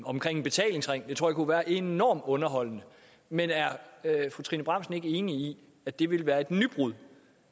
betalingsring kunne være enormt underholdende men er fru trine bramsen ikke enig i at det ville være et nybrud